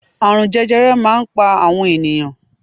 Àrùn jẹjẹrẹ máa ń pa àwọn ènìyàn